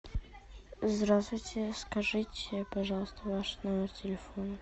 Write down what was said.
здравствуйте скажите пожалуйста ваш номер телефона